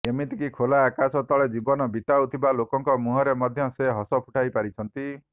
ଏମିତିକି ଖୋଲା ଆକାଶ ତଳେ ଜୀବନ ବିତାଉଥିବା ଲୋକଙ୍କ ମୁହଁରେ ମଧ୍ୟ ସେ ହସ ଫୁଟାଇ ପାରିଛନ୍ତି